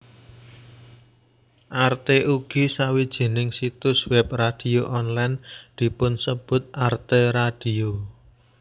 Arte ugi sawijining situs web radio online dipunsebut Arte Radio